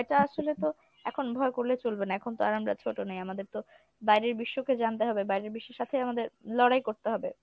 ভয়টা আসলে তো এখন ভয় করলে চলবে না এখন তো আর আমরা ছোট নেই আমাদের তো বাইরের বিশ্বকে জানতে হবে বাইরের বিশ্বর সাথে আমাদের লড়াই করতে হবে।